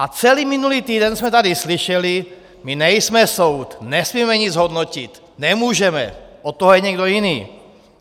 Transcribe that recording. A celý minulý týden jsme tady slyšeli - my nejsme soud, nesmíme nic hodnotit, nemůžeme, od toho je někdo jiný.